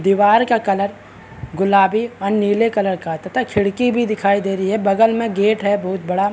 दीवार का कलर गुलाबी और नीले कलर का है तथा खिड़की भी दिखाई दे रही है। बगल में गेट है बहुत बड़ा।